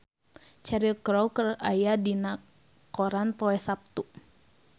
Cheryl Crow aya dina koran poe Saptu